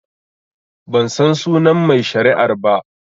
Bansan sunan mai shari'ar ba